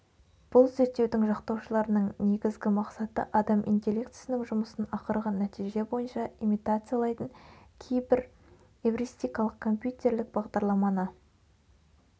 бұл зерттеудің жақтаушыларының негізгі мақсаты адам интеллектісінің жұмысын ақырғы нәтиже бойынша имитациялайтын кейбір эвристикалық компьютерлік бағдарламаны